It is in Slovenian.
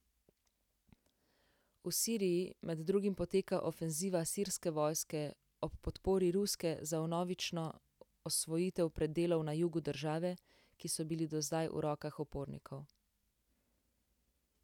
V Siriji med drugim poteka ofenziva sirske vojske ob podpori ruske za vnovično osvojitev predelov na jugu države, ki so bili do zdaj v rokah upornikov.